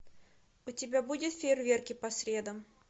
у тебя будет фейерверки по средам